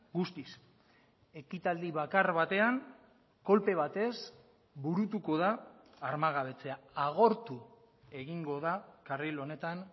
guztiz ekitaldi bakar batean kolpe batez burutuko da armagabetzea agortu egingo da karril honetan